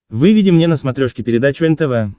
выведи мне на смотрешке передачу нтв